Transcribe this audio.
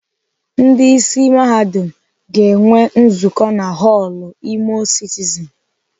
Ndị isi Mahadum ga-enwe nzukọ na họlụ Imo citizen.